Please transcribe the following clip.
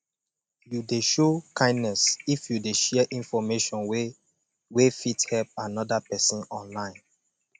you de show kindness if you de share information wey wey fit help another persin online